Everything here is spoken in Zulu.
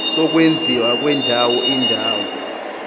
sokwenziwa kwendawo indawo